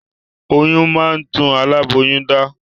Oyún máa ń tún alaboyun dá